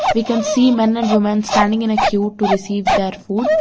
We can see men and woman standing in a queue to receive their food.